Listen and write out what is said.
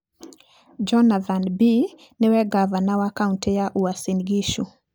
Jonathan Bii nĩwe ngavana wa kaũntĩ ya Uasin Gishu.